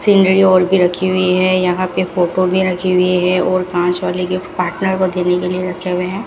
सिंदरी ओढ़के रखी हुई हैं यहाँ पे फोटो भी रखी हुई हैं और पास वाले गिफ्ट पार्टनर को देने के लिए रखे हुए हैं।